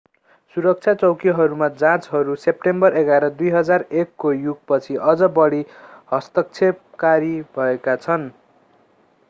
सुरक्षा चौकीहरूमा जाँचहरू सेप्टेम्बर 11 2001 को युग पछि अझ बढी हस्तक्षेपकारी भएका छन्